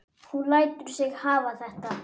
Hún lætur sig hafa þetta.